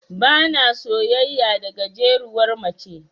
Bana soyayya da gajeruwar mace.